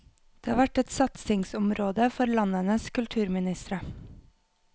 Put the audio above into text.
Det har vært et satsingsområde for landenes kulturministre.